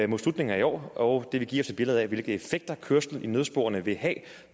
mod slutningen af i år og det vil give os et billede af hvilke effekter kørsel i nødsporene vil have